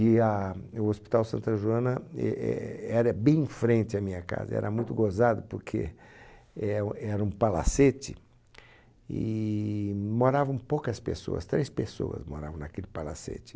E a, o Hospital Santa Joana e é era bem em frente à minha casa, era muito gozado porque é o, era um palacete e moravam poucas pessoas, três pessoas moravam naquele palacete.